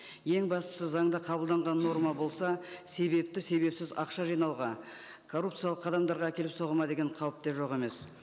ең бастысы заңда қабылданған норма болса себепті себепсіз ақша жинауға коррупциялық қадамдарға әкеліп соғады ма деген қауіп те жоқ емес